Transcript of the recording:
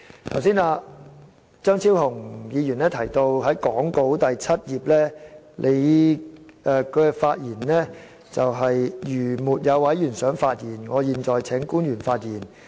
張超雄議員剛才提到根據講稿第七頁，主席本應說："如沒有委員想發言，我現在請官員發言。